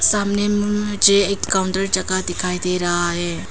सामने में मुझे एक काउंटर जगह दिखाई दे रहा है।